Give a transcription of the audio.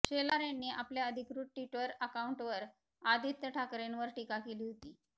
शेलार यांनी आपल्या अधिकृत ट्विटर अकाउंटवर आदित्य ठाकरेंवर टीका केली होती